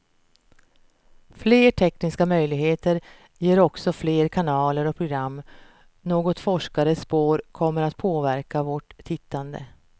Fler tekniska möjligheter ger också fler kanaler och program, något forskare spår kommer att påverka vårt tittande.